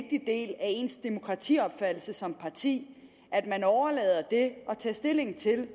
af ens demokratiopfattelse som parti at man overlader det at tage stilling til